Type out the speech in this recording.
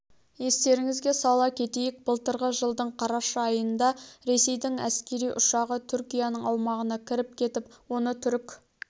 естеріңізге сала кетейік былтырғы жылдың қараша айында ресейдің әскери ұшағы түркияның аумағына кіріп кетіп оны түрік